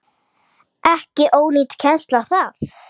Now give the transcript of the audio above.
Ekki ónýt kennsla það.